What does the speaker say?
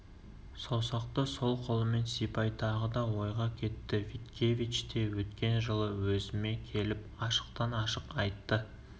саусақты сол қолымен сипай тағы да ойға кетті виткевич те өткен жылы өзіме келіп ашықтан-ашық айтты